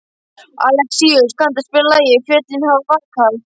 Alexíus, kanntu að spila lagið „Fjöllin hafa vakað“?